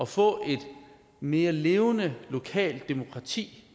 få et mere levende lokalt demokrati